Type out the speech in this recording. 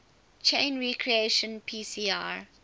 chain reaction pcr